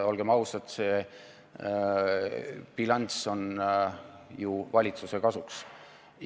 Olgem ausad, see bilanss on ju valitsuse kasuks.